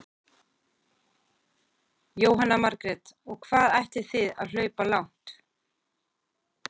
Jóhanna Margrét: Og hvað ætlið þið að hlaupa langt?